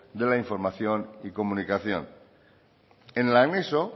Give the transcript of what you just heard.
de la información y comunicación en el anexo